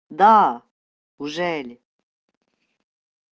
да уже ли